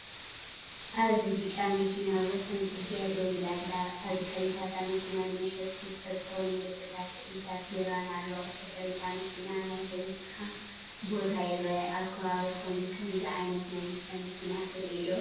ኣብዚ ብጫ መኪና ኣብ ወሰን ጽርግያ ደው ኢላ ኣላ። ኣብ ድሕሪት እታ መኪና ንመሸጢ መስተ ዝኸውን ምልክታትን ስእልታት ቢራን ኣሎ። ብድሕሪ እታ መኪና፡ ናይ ህንጻ ቦታ ይርአ። ኣብ ከባቢኹም ከምዚ ዓይነት ናይ መስተ መኪና ትርእዩ ዶ?